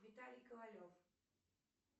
виталий ковалев